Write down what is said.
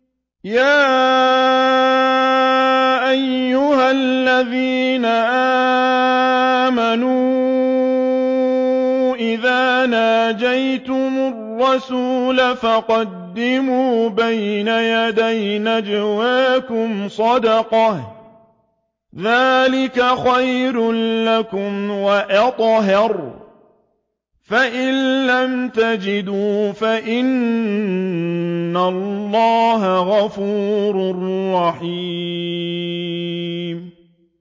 يَا أَيُّهَا الَّذِينَ آمَنُوا إِذَا نَاجَيْتُمُ الرَّسُولَ فَقَدِّمُوا بَيْنَ يَدَيْ نَجْوَاكُمْ صَدَقَةً ۚ ذَٰلِكَ خَيْرٌ لَّكُمْ وَأَطْهَرُ ۚ فَإِن لَّمْ تَجِدُوا فَإِنَّ اللَّهَ غَفُورٌ رَّحِيمٌ